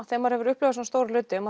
þegar maður hefur upplifað svona stóra hluti